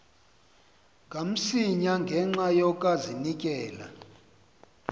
kamsinya ngenxa yokazinikela